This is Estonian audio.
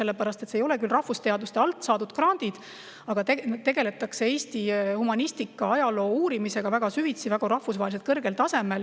Need ei ole küll rahvusteaduste alt saadud grandid, aga tegeletakse Eesti humani ajaloo uurimisega väga süvitsi, rahvusvaheliselt väga kõrgel tasemel.